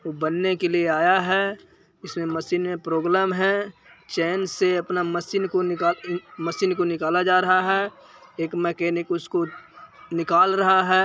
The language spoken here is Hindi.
बनने के लिए आया है इस में मशीन में प्रॉब्लम हेे चेन से आपनी मशीन को निकाल मशीन को निकला जा रहा हेे एक मेकेनिकल उसको निकल रहा हे।